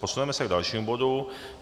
Posuneme se k dalšímu bodu.